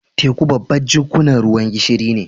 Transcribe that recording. Teku babban jikkunan ruwan gishiri ne.